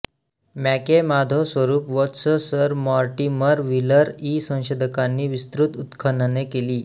MACAY Madhoswarup Vats Sir Mortimer Wheeler इ संशोधकांनी विस्तृत उत्खनने केली